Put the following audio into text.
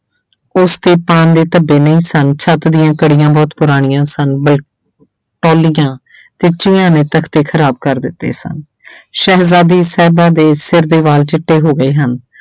ਉਸ ਤੇ ਪਾਨ ਦੇ ਧੱਬੇ ਨਹੀਂ ਸਨ ਛੱਤ ਦੀਆਂ ਕੜੀਆਂ ਬਹੁਤ ਪੁਰਾਣੀਆਂ ਸਨ ਤੇ ਚੂਹੀਆਂ ਨੇ ਤਖਤੇ ਖ਼ਰਾਬ ਕਰ ਦਿੱਤੇ ਸਨ ਸ਼ਹਿਜਾਦੀ ਸਾਹਿਬਾਂ ਦੇ ਸਿਰ ਦੇ ਵਾਲ ਚਿੱਟੇ ਹੋ ਗਏ ਹਨ